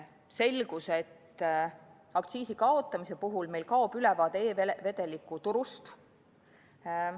Selgus, et aktsiisi kaotamise puhul meil kaob ülevaade e-vedelike turust.